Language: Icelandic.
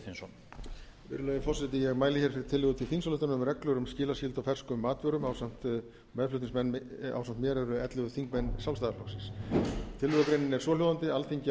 virðulegi forseti ég mæli hér fyrir tillögu til þingsályktunar um reglur skilaskyldu á ferskum matvörum meðflutningsmenn ásamt mér eru ellefu þingmenn sjálfstæðisflokksins tillögugreinin er svohljóðandi alþingi